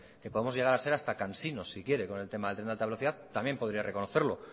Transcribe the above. que podemos llegar a ser hasta cansinos si quiere con el tema del tren de alta velocidad también podría reconocerlo